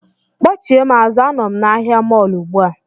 Kpọchie m azụ, anọ m na ahịa mọọlụ ugbu a